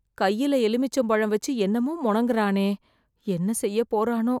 கையில் எலுமிச்சம் பழம் வெச்சு, என்னமோ மொணங்கறானே... என்ன செய்யப் போறோனோ..